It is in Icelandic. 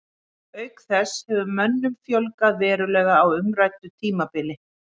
Auk þess hefur mönnum fjölgað verulega á umræddu tímabili.